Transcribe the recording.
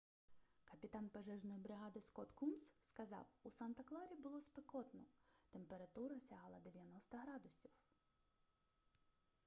капітан пожежної бригади скотт кунс сказав у санта-кларі було спекотно температура сягала 90 градусів